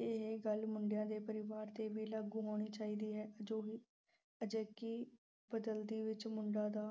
ਇਹ ਗੱਲ ਮੁੰਡਿਆਂ ਦੇ ਪਰਿਵਾਰ ਤੇ ਵੀ ਲਾਗੂ ਹੋਣੀ ਚਾਹੀਦੀ ਹੈ ਜੋ ਅਹ ਅਜੇਕੀ ਬਦਲਦੀ ਵਿੱਚ ਮੁੰਡਿਆਂ ਦਾ